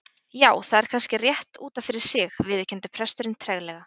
Já, það er kannski rétt út af fyrir sig- viðurkenndi presturinn treglega.